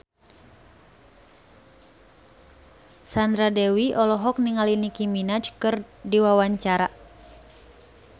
Sandra Dewi olohok ningali Nicky Minaj keur diwawancara